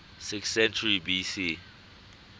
sixth century bc